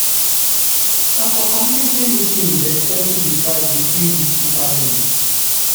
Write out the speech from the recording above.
na for community meeting dem settle di fight between di two family.